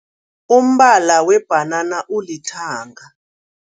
Umbala webhanana ulithanga.